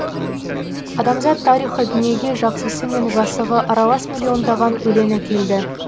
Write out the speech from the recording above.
адамзат тарихы дүниеге жақсысы мен жасығы аралас миллиондаған өлең әкелді